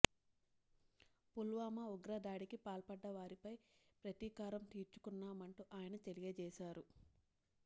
పుల్వామా ఉగ్ర దాడికి పాల్పడ్డ వారిపై ప్రతీకారం తీర్చుకున్నామంటూ ఆయన తెలియజేశారు